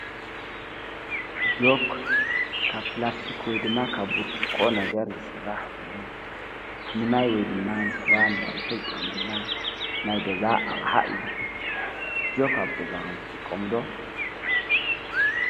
ናይ ገዛ ኣቕሓ ኣብ ገዛ ዝጥቀሙ ነገራት እዮም። ንምቕመጥ፣ ንምድናጽ፣ ንምድቃስን ንምኽብኻብን ይሕግዙ። ናይ ገዛ ኣቕሓ ገዛ ምቹእን ጽቡቕን ክገብር ይረዱ።